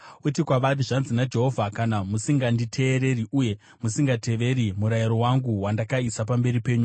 Uti kwavari, ‘Zvanzi naJehovha: Kana musinganditeereri, uye musingateveri murayiro wangu, wandakaisa pamberi penyu,